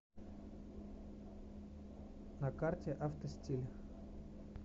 на карте автостиль